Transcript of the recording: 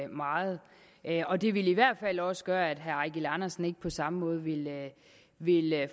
meget og det ville i hvert fald også gøre at herre eigil andersen ikke på samme måde ville ville